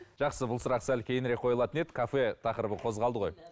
жақсы бұл сұрақ сәл кейінірек қойылатын еді кафе тақырыбы қозғалды ғой